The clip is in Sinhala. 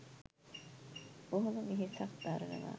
බොහොම වෙහෙසක් දරනවා